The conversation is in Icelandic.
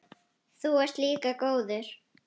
Þú ert líka góður.